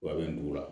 Wa a bɛ nin la